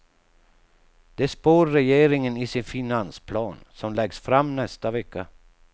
Det spår regeringen i sin finansplan, som läggs fram nästa vecka.